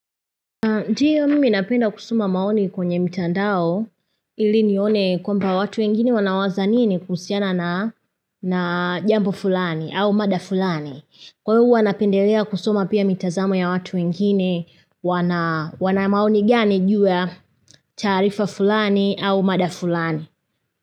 Ndiyo mimi napenda kusoma maoni kwenye mitandao ili nione kwamba watu wengine wanawaza nini kuhusiana na jambo fulani au mada fulani. Kwa hiyo huwa napendelea kusoma pia mitazamo ya watu wengine wana wana maoni gani juu ya taarifa fulani au mada fulani.